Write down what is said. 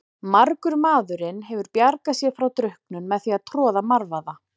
Margur maðurinn hefur bjargað sér frá drukknun með því að troða marvaða.